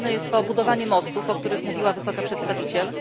Potrzebne jest to budowanie mostów, o których mówiła Wysoka Przedstawiciel.